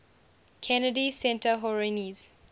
kennedy center honorees